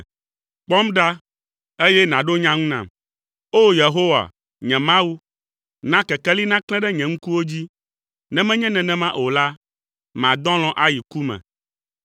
Kpɔm ɖa, eye nàɖo nya ŋu nam, O! Yehowa, nye Mawu. Na kekeli naklẽ ɖe nye ŋkuwo dzi, ne menye nenema o la, madɔ alɔ̃ ayi ku me.